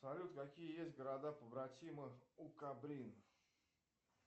салют какие есть города побратимы у кобрин